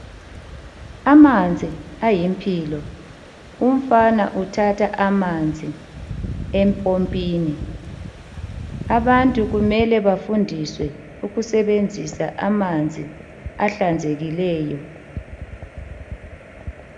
Amanzi ayimpilo, umfana uthatha amanzi empompini. Abantu kumele bafundiswe ukusebenzisa amanzi ahlanzekileyo.